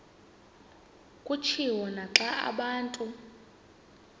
kutshiwo naxa abantu